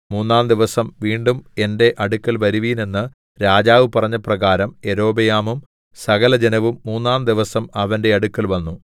മൂന്നാംദിവസം വീണ്ടും എന്റെ അടുക്കൽ വരുവീൻ എന്ന് രാജാവ് പറഞ്ഞ പ്രകാരം യൊരോബെയാമും സകലജനവും മൂന്നാംദിവസം അവന്റെ അടുക്കൽ വന്നു